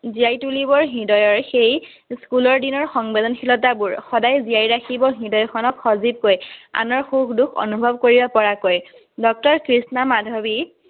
জিয়াই তুলিব হৃদয়ৰ সেই স্কুলৰ দিনৰ সেই সংবেদনশীলতাবোৰ, তাই জিয়াই ৰাখিব মনত সজীৱকৈ, আনৰ সুখ-দুখ অনুভৱ কৰিব পৰাকৈ। ডক্তৰ কৃষ্ণা মাধৱী